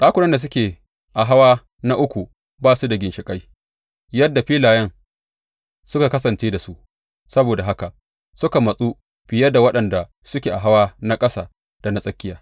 Ɗakunan da suke a hawa na uku ba su da ginshiƙai, yadda filayen suka kasance da su, saboda haka suka matsu fiye da waɗanda suke a hawa na ƙasa da na tsakiya.